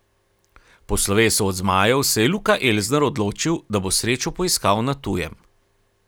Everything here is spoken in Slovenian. Po slovesu od zmajev se je Luka Elsner odločil, da bo srečo poiskal na tujem.